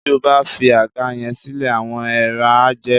Tó o bá fi àga yẹn sílẹ̀, àwọn eèrà á jẹ ẹ́